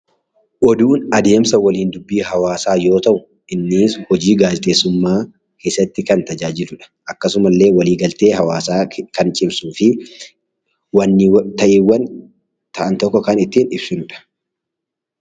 Oduun adeemsa waliin dubbii hawaasaa yoo ta'u, innis hojii gaazexeessummaa keessatti kan tajaajiludha. Akkasuma illee waliigaltee hawaasaa kan cimsuu fi ta'iiwwan ta'an tokko kan ittiin ibsinudha.